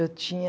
Eu tinha...